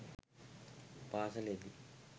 පාසලේ දී